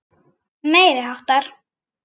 Meiri háttar.